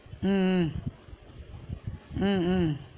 உம் உம் உம் உம்